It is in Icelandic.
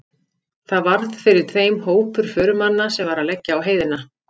Þar varð fyrir þeim hópur förumanna sem var að leggja á heiðina.